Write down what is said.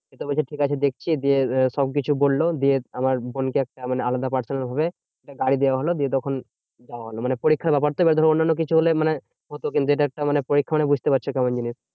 তো বলছে ঠিকাছে দেখছি, দিয়ে সবকিছু বললো দিয়ে আমার বোনকে একটা মানে আলাদা প্রাথমিক ভাবে একটা গাড়ি দেওয়া হলো। দিয়ে তখন যাওয়া হলো। মানে পরীক্ষার ব্যাপার তো এবার ধরো অন্যান্য কিছু হলে, মানে হতো কিন্তু এটা একটা মানে পরীক্ষা মানে বুঝতে পারছো কেমন জিনিস?